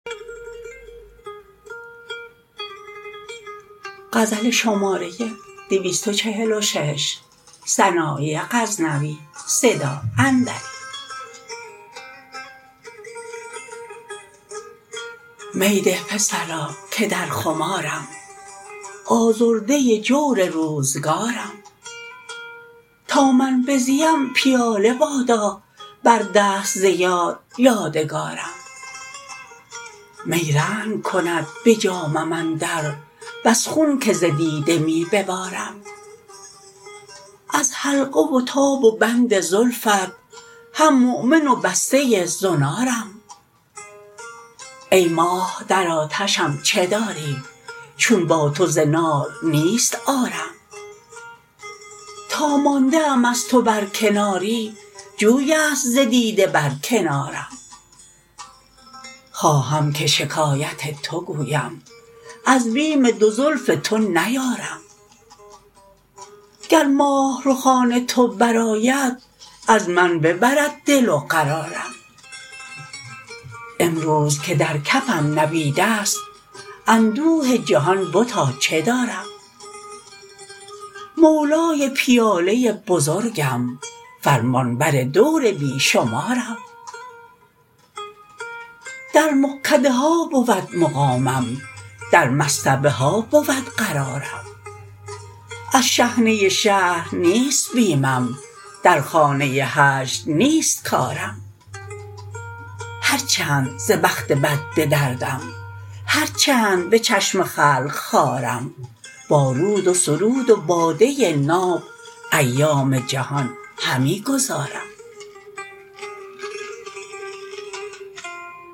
می ده پسرا که در خمارم آزرده جور روزگارم تا من بزیم پیاله بادا بر دست ز یار یادگارم می رنگ کند به جامم اندر بس خون که ز دیده می ببارم از حلقه و تاب و بند زلفت هم مؤمن و بسته زنارم ای ماه در آتشم چه داری چون با تو ز نار نیست عارم تا مانده ام از تو بر کناری جویست ز دیده بر کنارم خواهم که شکایت تو گویم از بیم دو زلف تو نیارم گر ماه رخان تو برآید از من ببرد دل و قرارم امروز که در کفم نبیدست اندوه جهان بتا چه دارم مولای پیاله بزرگم فرمانبر دور بی شمارم در مغکده ها بود مقامم در مصطبه ها بود قرارم از شحنه شهر نیست بیمم در خانه هجر نیست کارم هر چند ز بخت بد به دردم هر چند به چشم خلق خوارم با رود و سرود و باده ناب ایام جهان همی گذارم